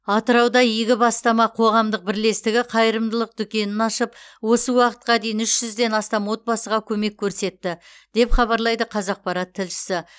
атырауда игі іске бастама қоғамдық бірлестігі қайырымдылық дүкенін ашып осы уақытқа дейін үш жүзден астам отбасыға көмек көрсетті деп хабарлайды қазақпарат тілшісі